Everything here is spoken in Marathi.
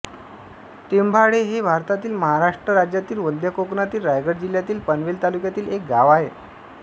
टेंभाडे हे भारतातील महाराष्ट्र राज्यातील मध्य कोकणातील रायगड जिल्ह्यातील पनवेल तालुक्यातील एक गाव आहे